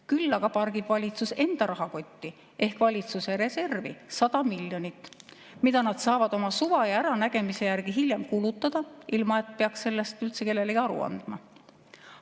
Küll aga pargib valitsus enda rahakotti ehk valitsuse reservi 100 miljonit, mida nad saavad hiljem oma suva ja äranägemise järgi kulutada, ilma et peaks sellest üldse kellelegi aru andma.